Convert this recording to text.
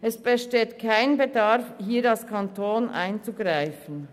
Es besteht hier kein Bedarf, als Kanton einzugreifen.